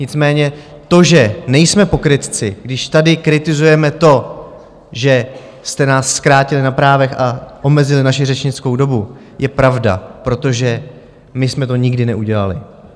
Nicméně to, že nejsme pokrytci, když tady kritizujeme to, že jste nás zkrátili na právech a omezili naši řečnickou dobu, je pravda, protože my jsme to nikdy neudělali.